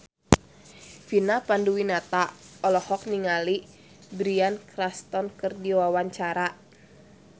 Vina Panduwinata olohok ningali Bryan Cranston keur diwawancara